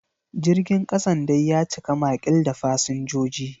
Jirgin kasan dai ya cika makil da fasinjoji.